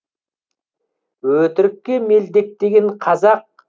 өтірікке мелдектеген қазақ